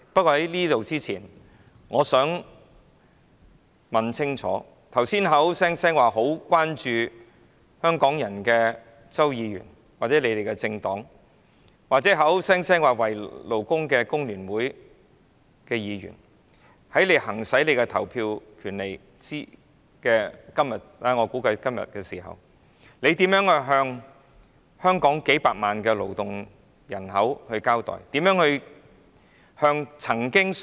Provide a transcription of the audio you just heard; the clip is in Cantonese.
可是，我想問清楚剛才表示非常關注工人的周議員或其政黨，以及表示為工人積極爭取權益的工聯會議員，在表決時，他們如何向數百萬勞動人口交代？